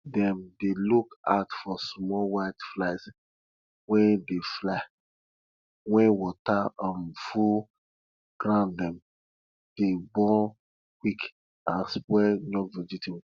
dem dey look out for small white flies wey dey fly when water um full grounddem dey born quick and spoil young vegetables